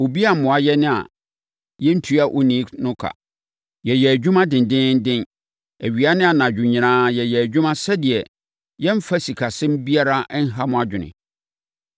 Obi ammoa yɛn a yɛantua onii no ka. Yɛyɛɛ adwuma dendeenden. Awia ne anadwo nyinaa yɛyɛɛ adwuma sɛdeɛ yɛremfa sikasɛm biara nha mo adwene.